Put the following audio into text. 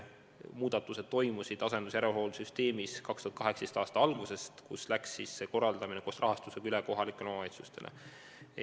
Muudatused toimusid asendus-järelhoolduse süsteemis 2018. aasta alguses, kui see korraldamine läks koos rahastusega üle kohalikele omavalitsustele.